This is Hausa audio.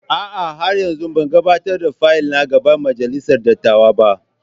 A'a, har yanzu ban gabatar da fayil na ga Majalisar Dattawa ba.